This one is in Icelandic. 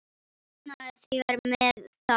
Svona þegar með þarf.